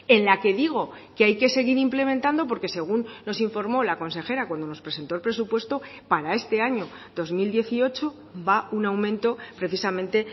en la que digo que hay que seguir implementando porque según nos informó la consejera cuando nos presentó el presupuesto para este año dos mil dieciocho va un aumento precisamente